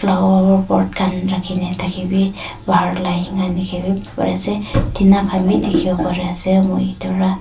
khan rakhi ne thaki bi bahar tina khan bi dikhi wo pari ase moi ete ra.